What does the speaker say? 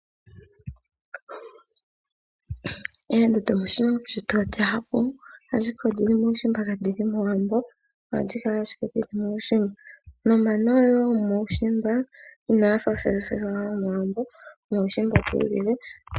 Oombuto moshilongo shetu odhindji ashike odhili muushimba kadhili mowambo. Ohadhi kala ashike dhili muushimba nomano gomuushimamba inagafa gomomowambo ano gomuushimamba ogi ili.